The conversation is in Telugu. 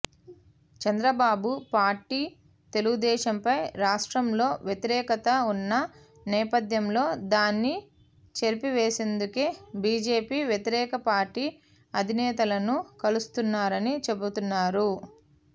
చంద్రబాబు పార్టీ తెలుగుదేశంపై రాష్ట్రంలో వ్యతిరేకత ఉన్న నేపథ్యంలో దాన్ని చెరిపివేసేందుకే బీజేపీ వ్యతిరేక పార్టీ అధినేతలను కలుస్తున్నారని చెబుతున్నారు